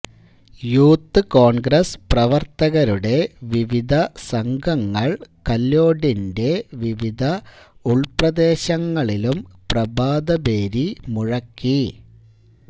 youth Congress പ്രവർത്തകരുടെ വിവിധ സംഘങ്ങൾ കല്യോടിന്റെ വിവിധ ഉൾപ്രദേശങ്ങളിലും പ്രഭാതഭേരി മുഴക്കി